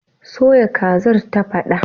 Soya kazar, ta faɗa